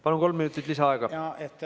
Palun, kolm minutit lisaaega!